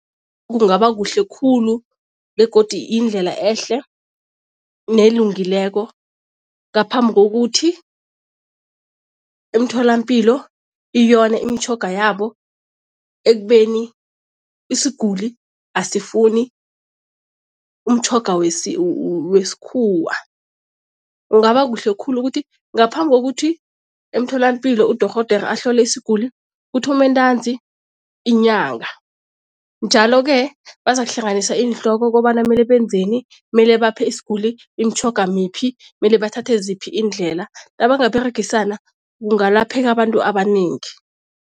Kungaba kuhle khulu begodi indlela ehle nelungileko ngaphambi kokuthi emtholampilo iyone imitjhoga yabo ekubeni isiguli asifuni umtjhoga wesikhuwa. Kungaba kuhle khulu ukuthi ngaphambi kokuthi emtholapilo udorhodera ahlole isiguli, kuthome ntanzi inyanga. Njalo-ke bazakuhlanganisa iinhloko kobana mele benzeni, mele baphe isiguli imitjhoga miphi, mele bathathe ziphi iindlela. Nabanga beregisana kungalapheka abantu abanengi.